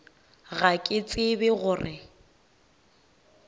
ga ke tsebe go re